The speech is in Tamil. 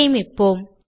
சேமிப்போம்